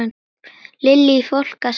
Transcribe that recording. Lillý: Fólk að spara?